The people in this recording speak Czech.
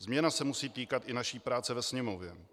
Změna se musí týkat i naší práce ve Sněmovně.